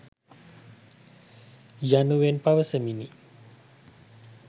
යනුවෙන් පවසමිනි.